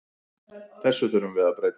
Þessu þurfum við að breyta.